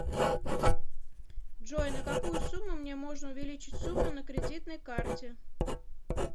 джой на какую сумму мне можно увеличить сумму на кредитной карте